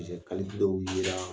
yera